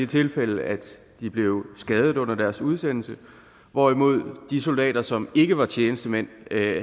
tilfælde at de blev skadet under deres udsendelse hvorimod de soldater som ikke var tjenestemænd